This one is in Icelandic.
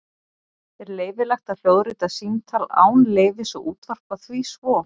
Er leyfilegt að hljóðrita símtal án leyfis og útvarpa því svo?